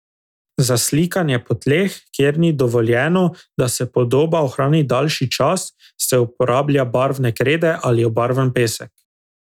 Za slikanje po tleh, kjer ni dovoljeno, da se podoba ohrani daljši čas, se uporablja barvne krede ali obarvan pesek.